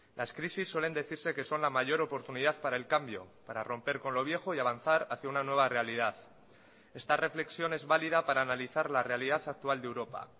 las crisis suelen decirse que son la mayor oportunidad para el cambio para romper con lo viejo y avanzar hacia una nueva realidad esta reflexión es válida para analizar la realidad actual de europa